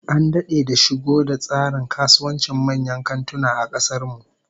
An dade da shigo da tsarin kasuwancin manyan kantuna a kasar nan